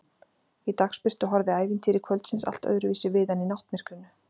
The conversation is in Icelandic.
Í dagsbirtu horfði ævintýri kvöldsins allt öðruvísi við en í náttmyrkrinu.